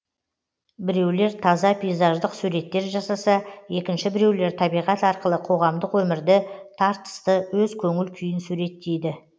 біреулер таза пейзаждық суреттер жасаса екінші біреулер табиғат арқылы қоғамдық өмірді тартысты өз көңіл күйін суреттейді